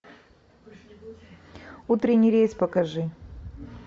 утренний рейс покажи